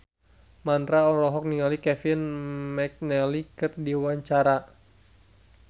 Mandra olohok ningali Kevin McNally keur diwawancara